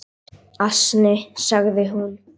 """Asni, sagði hún."""